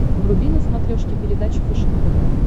вруби на смотрешке передачу фэшен тв